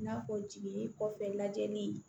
I n'a fɔ jiginni kɔfɛ lajɛli